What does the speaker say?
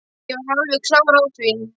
Ég er alveg klár á því.